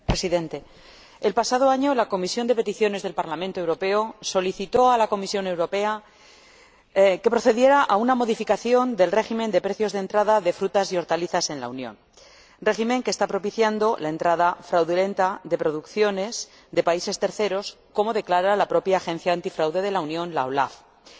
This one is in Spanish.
Señor Presidente, el pasado año la Comisión de Peticiones del Parlamento Europeo solicitó a la Comisión Europea que procediera a una modificación del régimen de precios de entrada de frutas y hortalizas en la Unión, régimen que está propiciando la entrada fraudulenta de producciones de terceros países, como declara la propia Oficina Europea de Lucha contra el Fraude, la OLAF.